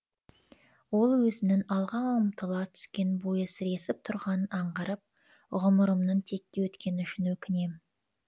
ол өзінің алға ұмтыла түскен бойы сіресіп тұрғанын аңғарып ғұмырымның текке өткені үшін өкінем